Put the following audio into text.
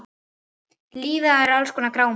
Lífið er alls konar grámi.